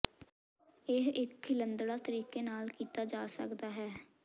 ਇਹ ਇੱਕ ਖਿਲੰਦੜਾ ਤਰੀਕੇ ਨਾਲ ਕੀਤਾ ਜਾ ਸਕਦਾ ਹੈ